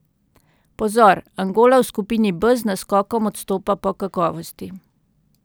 Pozor, Angola v skupini B z naskokom odstopa po kakovosti.